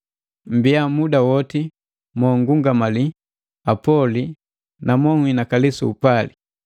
Mmbiya muda woti mo nngungamali, apoli na banhinakali su upali.